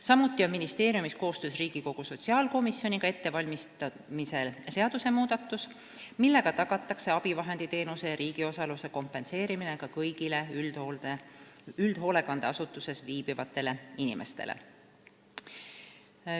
Samuti on ministeeriumis koostöös Riigikogu sotsiaalkomisjoniga ettevalmistamisel seadusmuudatus, millega tagatakse abivahenditeenuse ja riigi osaluse kompenseerimine ka kõigile üldhoolekandeasutustes viibivatele inimestele.